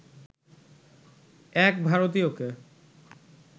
এক ভারতীয়কে